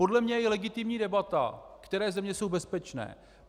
Podle mě je legitimní debata, které země jsou bezpečné.